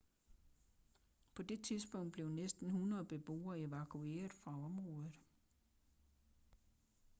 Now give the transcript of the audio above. på det tidspunkt blev næsten 100 beboere evakueret fra området